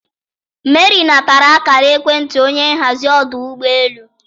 Mary natara akara ekwentị onye nhazi ọdụ ụgbọ elu.